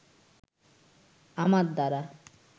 আমার দ্বারা